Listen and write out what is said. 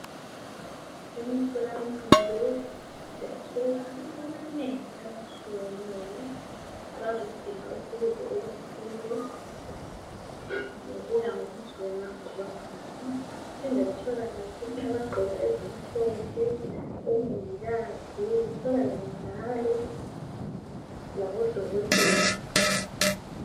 Emtholampilo siyathola abantu abanengi abatshiyeneyo abazodinga usizo oluthile ngokuya ngokuthi wena uzwa njani, kuphinde kutholakale futhi abagqoke ezimhlophe omongikazi kutholakale njalo labodokotela.